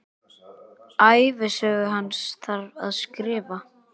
Ævisögu hans þarf að skrifa.